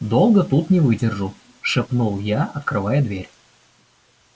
долго тут не выдержу шепнул я открывая дверь